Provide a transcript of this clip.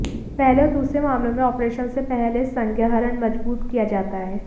पहले और दूसरे मामलों में ऑपरेशन से पहले संज्ञाहरण मजबूत किया जाता है